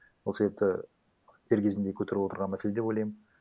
сол себепті дер кезінде көтеріп отырған мәселе деп ойлаймын